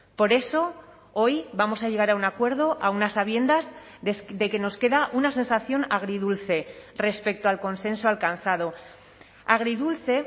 por eso hoy vamos a llegar a un acuerdo aun a sabiendas de que nos queda una sensación agridulce respecto al consenso alcanzado agridulce